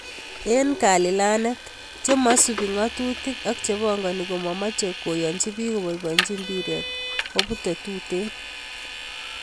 Eng kalilanet , chemasubi ngatutik, ak chepangani komamoche koyanchi piik kobaibainchi mpiret, kobute tuten.